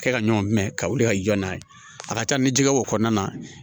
Kɛ ka ɲɔn minɛ ka wuli ka jɔ n'a ye a ka ca ni jɛgɛ ko kɔnɔna na